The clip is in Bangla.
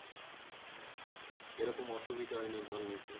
সেরকম অসুবিধা হয় না জল নিতে।